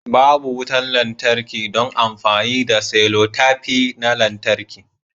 Babu wutar lantarki don amfani da selotape na lantarki